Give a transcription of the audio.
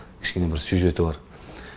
кішкене бір сюжеті бар